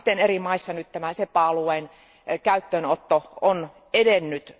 Miten eri maissa nyt tämä SEPA alueen käyttöönotto on edennyt?